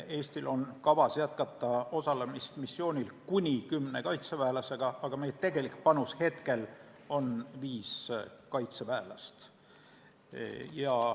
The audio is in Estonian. Eestil on kavas jätkata osalemist missioonil kuni kümne kaitseväelasega, aga meie tegelik panus on praegu viis kaitseväelast.